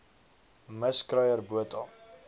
mis kruier botha